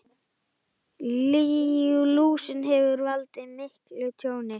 Lúsin hefur valdið miklu tjóni.